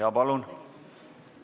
Jaa, palun!